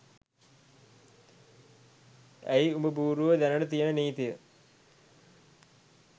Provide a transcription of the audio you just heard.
ඇයි උඹබූරුවෝ දැනට තියෙන නීතිය